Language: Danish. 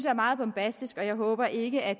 er meget bombastisk og jeg håber ikke at